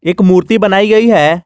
एक मूर्ति बनाई गई है।